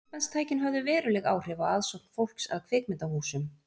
Myndbandstækin höfðu veruleg áhrif á aðsókn fólks að kvikmyndahúsum.